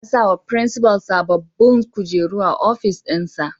Za a sawa firinsifal sababbin kujeru a ofis dinsa.